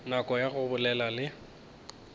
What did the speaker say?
nako ya go ba le